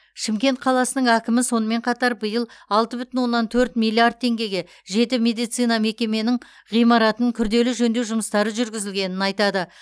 шымкент қаласының әкімі сонымен қатар биыл алты бүтін оннан төрт миллиард теңгеге жеті медицина мекеменің ғимаратын күрделі жөндеу жұмыстары жүргізілгенін айтады